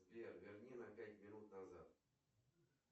сбер верни на пять минут назад